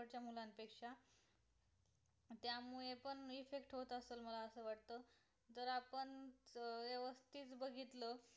बघितल